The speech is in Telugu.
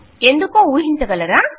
ఎందుకో ఊహించగలరా